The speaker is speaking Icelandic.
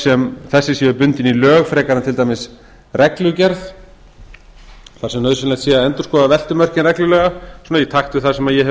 sem þessi séu bundin í lög frekar en til dæmis reglugerð þar sem nauðsynlegt sé að endurskoða veltumörkin reglulega svona í takt við sem ég